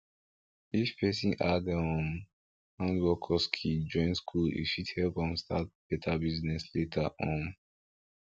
if persin add um handwork or skill join school e fit help am start better business later um